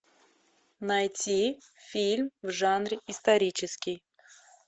найти фильм в жанре исторический